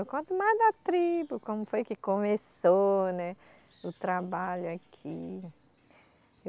Eu conto mais da tribo, como foi que começou, né o trabalho aqui.